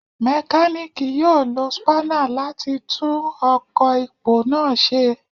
Mekaniki yoo lo spanner lati tun ọkọ ipo naa ṣe